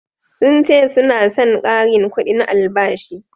sun ce suna San karin kudin albashi